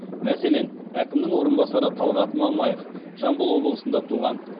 мәселен әкімнің орынбасары талғат мамаев жамбыл облысында туған